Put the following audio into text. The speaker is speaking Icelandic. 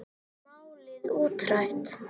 Málið útrætt.